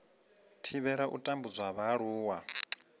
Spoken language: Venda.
thivhela u tambudzwa ha vhaaluwa